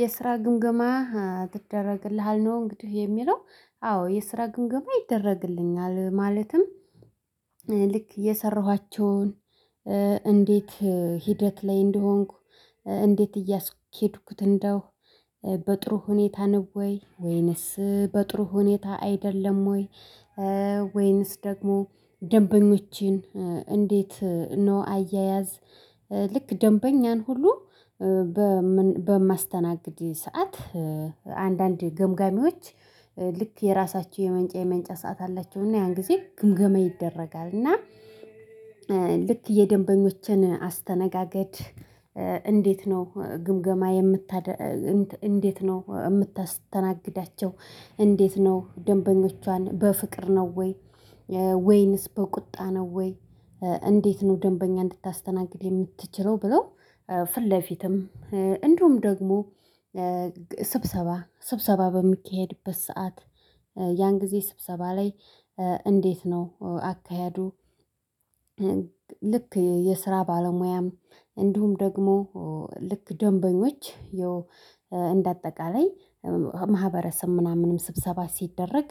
የስራ ግምገማ ይደረግልሃል ነው እንግዲህ የሚለው? አዎ የስራ ግምገማ ይደረግልኛል ማለትም ልክ የሰራኋቸውን እንዴት ሂደት ላይ እንደሆንኩ እንዴት እያስኬድኩት እንደው በጥሩ ሁኔታ ነው ወይ ወይንስ በጥሩ ሁኔታ አይደለም ወይ? ወይንስ ደግሞ ደንበኞችን እንዴት ነው አያያዝ ልክ ደንበኛን ሁሉ በ ምን በማስተናግድ ሰዓት አንዳንድ ገምጋሚዎች ልክ የራሳቸው የመንጫ የመንጫ ሰዓት አላቸውና ያን ጊዜ ግምገማ ይደረጋል እና። ልክ የደንበኞችን አስተነጋገድ እንዴት ነው ግምገማ የምታደርግ እንዴት ነው የምታስተናግዳቸው እንዴት ነው ደንበኞቿን በፍቅር ነው ወይ ወይንስ በቁጣ ነው ወይ እንዴት ነው ደንበኛ እንድታስተናግድ የምትችለው ብለው ፊት ለፊትም እንዲሁም ደግሞ ስብሰባ ስብሰባ በሚካሄድበት ሰዓት ያን ጊዜ ስብሰባ ላይ እንዴት ነው አካሄዱ? ልክ የስራ ባለሙያም እንዲሁም ደግሞ ልክ ደንበኞች ያው እንደ አጠቃላይ ማህበረሰብ ምናምንም ስብሰባ ሲደረግ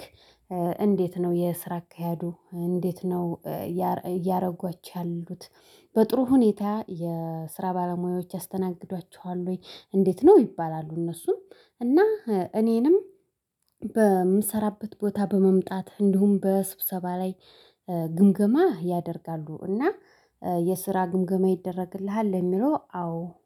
እንዴት ነው የስራ አካሄዱ እንዴት ነው እያረ እያደረጓች ያሉት በጥሩ ሁኔታ የስራ ባለሙያዎች ያስተናግዷቸዋል ወይ እንዴት ነው ይባላሉ እነሱን እና እኔንም በምሰራበት ቦታ በመምጣት እንዲሁም በስብሰባ ላይ ግምገማ ያደርጋሉ እና። የስራ ግምገማ ይደረግልሃል የሚለው አዎ